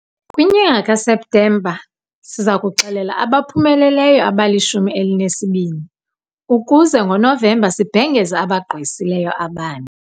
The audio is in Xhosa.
Kwinyanga kaSeptemba siza kuxela abaphumeleleyo abalishumi elinesibini, ukuze ngoNovemba sibhengeze abagqwesileyo abane.